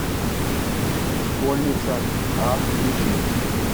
школьница а включи